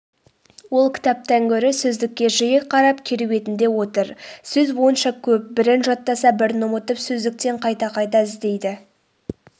ол кітаптан гөрі сөздікке жиі қарап керуетінде отыр сөз сонша көп бірін жаттаса бірін ұмытып сөздіктен қайта-қайта іздейді